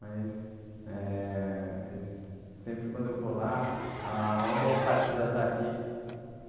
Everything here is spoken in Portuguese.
Mas, é... Sempre quando eu vou lá, ah uma boa parte já tá aqui.